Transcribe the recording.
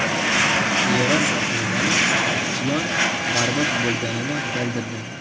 Eron rasmiylari isyon barbod bo‘lganini bildirdi.